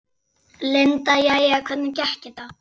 Linda: Jæja, hvernig gekk þetta?